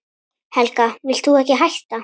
Helga: Vilt þú ekki hætta?